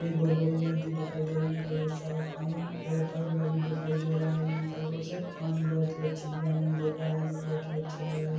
एक बहुत बड़ी नदी दिखाई दे रही है ठेर सारा पानी बहता हुआ भी दिखाई दे रहा है यहाँ पर मुझे पानी बहुत हि अच्छे डिज़ाइन में मिल रहा है बहुत ही अच्छा लग रहा है ।